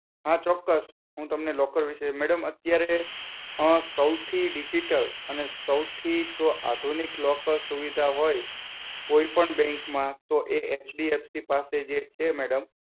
હા ચોક્કસ હું તમને લોકર વિષે madam અત્યારે સૌથી digital સૌથી આધુનિક locker સુવિધા હોય કોઈપણ bank માં તો એ HDFC પાસે જે છે madam